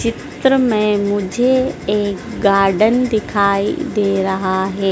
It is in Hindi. चित्र में मुझे एक गार्डन दिखाई दे रहा है।